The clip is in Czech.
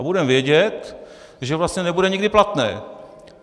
A budeme vědět, že vlastně nebude nikdy platné.